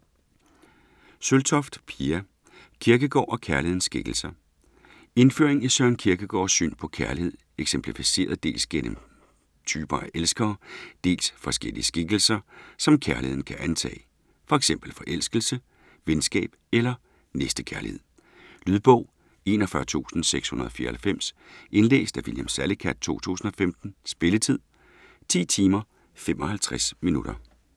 Søltoft, Pia: Kierkegaard og kærlighedens skikkelser Indføring i Søren Kierkegaards syn på kærlighed eksemplificeret dels gennem forskellige typer af elskere, dels forskellige skikkelser, som kærligheden kan antage, fx forelskelse, venskab eller næstekærlighed. Lydbog 41694 Indlæst af William Salicath, 2015. Spilletid: 10 timer, 55 minutter.